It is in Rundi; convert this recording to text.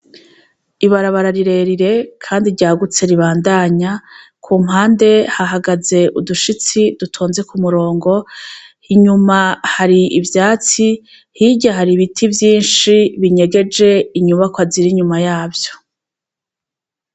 Ibarabara rirerire kandi ryagutse ribandanya, kumpande hahagaze udushitsi dutonze k'umurongo, inyuma hari ivyatsi, hirya hari ibiti vyinshi ,binyegeje inyubakwa ziri inyuma yavyo.